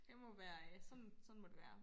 Det må være sådan sådan må det være